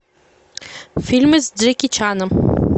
фильмы с джеки чаном